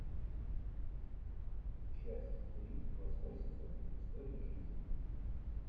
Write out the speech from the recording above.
часть три восьмой сезон истории жизни